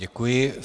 Děkuji.